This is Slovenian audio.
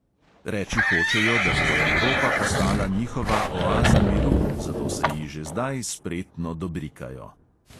Reči hočejo, da bo evropa postala njihova oaza miru, zato se ji že zdaj spretno dobrikajo.